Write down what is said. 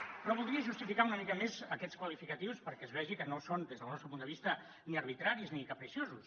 però voldria justificar una mica més aquests qualificatius perquè es vegi que no són des del nostre punt de vista ni arbitraris ni capriciosos